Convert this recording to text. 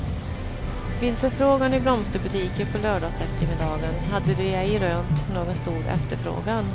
Vid förfrågan i blomsterbutiker på lördagseftermiddagen hade de ej rönt någon stor efterfrågan.